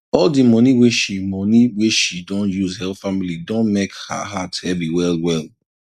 all di money wey she money wey she don use help family don mek her heart heavy wellwell